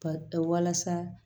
Ba walasa